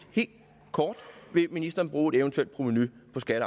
helt kort vil ministeren bruge et eventuelt provenu på skatte